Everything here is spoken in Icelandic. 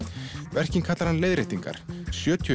verkin kallar hann leiðréttingar sjötíu